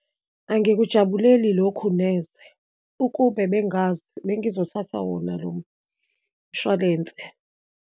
Angikujabuleli lokhu neze, ukube bengazi, bengizothatha wona lo mshwalense.